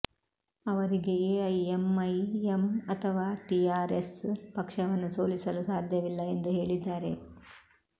ಅವರಿಗೆ ಎಐಎಂಐಎಂ ಅಥವಾ TR S ಪಕ್ಷವನ್ನು ಸೋಲಿಸಲು ಸಾಧ್ಯವಿಲ್ಲ ಎಂದು ಹೇಳಿದ್ದಾರೆ